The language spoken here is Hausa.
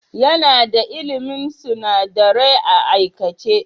Yana da ilmin sunadarai a aikace.